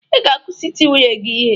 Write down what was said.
Ị ga-akwụsị iti nwunye gị